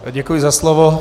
Děkuji za slovo.